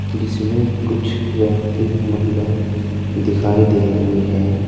जिसमें कुछ व्यक्ति महिलाएं दिखाई दे रही है।